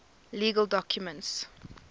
legal documents